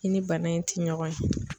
I ni bana in ti ɲɔgɔn ye.